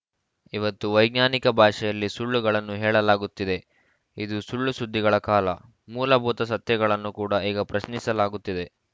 ಇವತ್ತು ವೈಜ್ಞಾನಿಕ ಭಾಷೆಯಲ್ಲಿ ಸುಳ್ಳುಗಳನ್ನು ಹೇಳಲಾಗುತ್ತಿದೆ ಇದು ಸುಳ್ಳು ಸುದ್ದಿಗಳ ಕಾಲ ಮೂಲಭೂತ ಸತ್ಯಗಳನ್ನೂ ಕೂಡ ಈಗ ಪ್ರಶ್ನಿಸಲಾಗುತ್ತಿದೆ